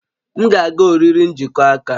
M ga-aga oriri njikọ aka